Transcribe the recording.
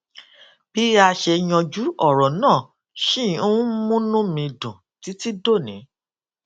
bí a ṣe yanjú òrò náà ṣì ń múnú mi dùn títí dòní